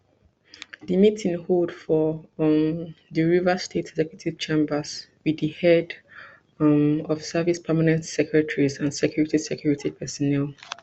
di meeting hold for um di rivers state executive chambers wit di head um of service permanent secretaries and security security personnel